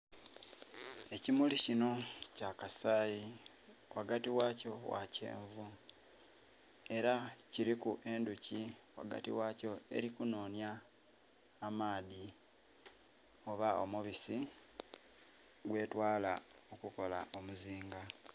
Ekimuli kinho kya kasayi ghagati ghakyo gha kyenvu era kiliku endhuki ghagati ghakyo eri ku nonhya amaadhi oba omubisi gwe twala okukola omuzinga.